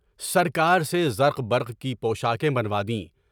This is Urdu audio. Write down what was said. سرکار کے زرق برق کی پوشاکے بنوا دی۔